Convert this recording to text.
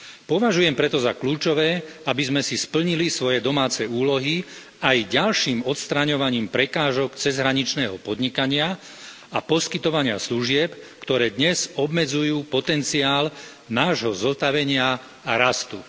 Považujem preto za kľúčové, aby sme si splnili svoje domáce úlohy aj ďalším odstraňovaním prekážok cezhraničného podnikania a poskytovania služieb, ktoré dnes obmedzujú potenciál nášho zotavenia a rastu.